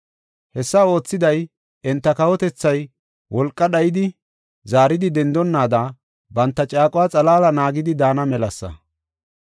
Hessa oothiday enta kawotethay wolqa dhayidi, zaaridi dendonnaada banta caaquwa xalaala naagidi daana melasa.